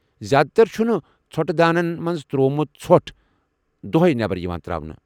زیٛادٕ تر چھُنہٕ ژھۄٹہٕ دانٮ۪ن منٛز تر٘وومُت ژھۄٹھ دوہے یوان نیبر تر٘اونہٕ ۔